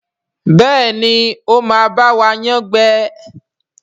Béèni o má ba wa yán gbé.